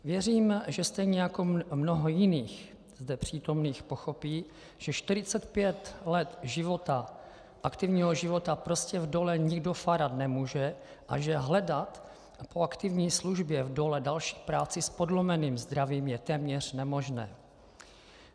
Věřím, že stejně jako mnoho jiných zde přítomných pochopí, že 45 let života, aktivního života prostě v dole nikdo fárat nemůže a že hledat po aktivní službě v dole další práci s podlomeným zdravím je téměř nemožné.